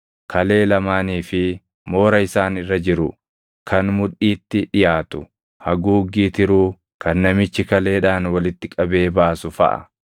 kalee lamaanii fi moora isaan irra jiru kan mudhiitti dhiʼaatu, haguuggii tiruu kan namichi kaleedhaan walitti qabee baasu faʼa.